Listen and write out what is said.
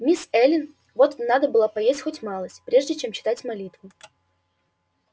мисс эллин вот надо было поесть хоть малость прежде чем читать молитву